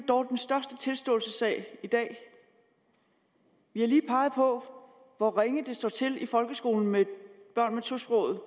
dog den største tilståelsessag i dag vi har lige peget på hvor ringe det står til i folkeskolen med børn med tosproget